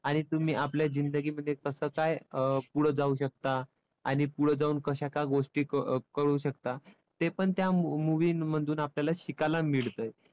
आणि तुम्ही आपल्या जिंदगीमध्ये कसं काय अं पुढं जाऊ शकता. आणि पुढं जाऊन कशा काय गोष्टी करू शकता ते पण त्या movie मधून आपल्याला शिकायला मिळतंय.